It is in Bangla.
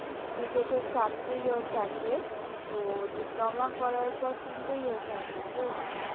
B tech এর চারটে year থাকে তো diploma করার পর তিনটে year থাকে তো?